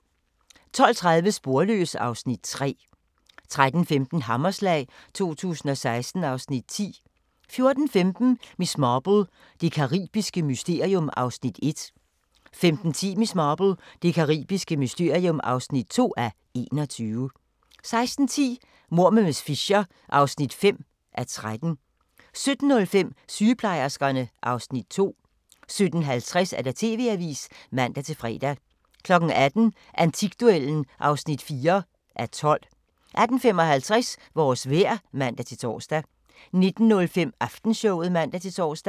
12:30: Sporløs (Afs. 3) 13:15: Hammerslag 2016 (Afs. 10) 14:15: Miss Marple: Det caribiske mysterium (1:21) 15:10: Miss Marple: Det caribiske mysterium (2:21) 16:10: Mord med miss Fisher (5:13) 17:05: Sygeplejerskerne (Afs. 2) 17:50: TV-avisen (man-fre) 18:00: Antikduellen (4:12) 18:55: Vores vejr (man-tor) 19:05: Aftenshowet (man-tor)